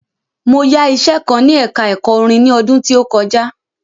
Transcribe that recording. Mo yá iṣẹ kan ní ẹka ẹ̀kọ́ orin ni ọdún tí ó kọjá.